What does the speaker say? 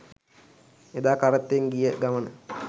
එදා කරත්තෙන් ගිය ගමන